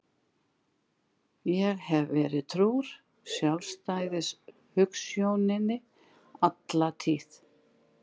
Ég hef verið trúr sjálfstæðishugsjóninni alla tíð.